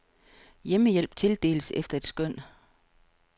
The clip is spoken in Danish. Hjemmehjælp tildeles efter et skøn.